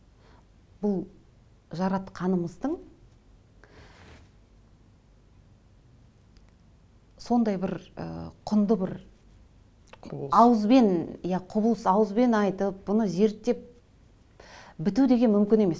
бұл жаратқанымыздың сондай бір ы құнды бір ауызбен құбылыс ауызбен айтып бұны зерттеп біту деген мүмкін емес